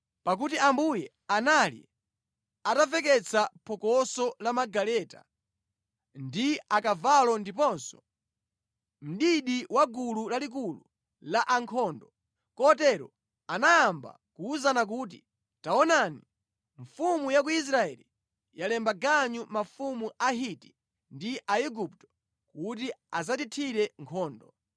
pakuti Ambuye anali atamveketsa phokoso la magaleta ndi akavalo ndiponso mdidi wa gulu lalikulu la ankhondo, kotero anayamba kuwuzana kuti, “Taonani, mfumu ya ku Israeli yalemba ganyu mafumu a Ahiti ndi a Aigupto kuti adzatithire nkhondo!”